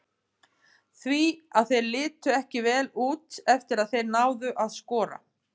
Því að þeir litu ekki vel út eftir að þeir náðu að skora.